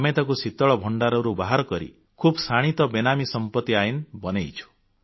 ଆମେ ତାକୁ ଶୀତଳ ଭଣ୍ଡାରରୁ ବାହାର କରି ଖୁବ୍ ଶାଣିତ ବେନାମୀ ସମ୍ପତି ଆଇନ ବନେଇଛୁ